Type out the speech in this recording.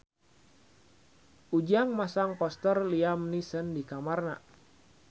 Ujang masang poster Liam Neeson di kamarna